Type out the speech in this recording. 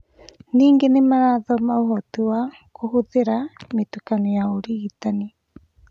Ningĩ nĩmarathoma ũhoti wa kũhũthĩra mĩtukanio ya ũrigitani